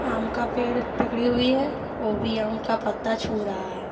आम का पेड़ पकड़ी हुई है वो भी आम का पत्ता छू रहा है।